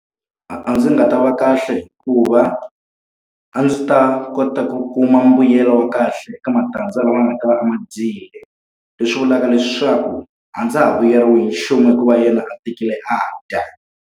A a ndzi nga ta va kahle hikuva a ndzi ta kota ku kuma mbuyelo wa kahle eka matandza lama nga ta va a ma dyile. Leswi vulaka leswaku a ndza ha vuyeriwi hi nchumu hikuva yena a tekile a dya.